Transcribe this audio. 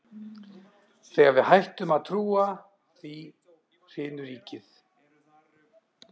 Þegar við hættum að trúa því, hrynur ríkið!